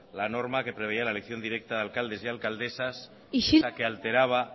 la norma que preveía la elección directa de alcaldes y alcaldesas que alteraba